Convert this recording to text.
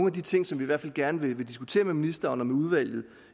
af de ting som vi i hvert fald gerne vil diskutere med ministeren og udvalget